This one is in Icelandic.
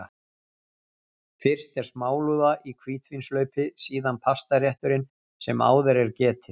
Fyrst er smálúða í hvítvínshlaupi, síðan pastarétturinn sem áður er getið.